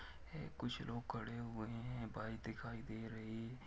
कुछ लोग खड़े हुए है बाइक दिखाई दे रही--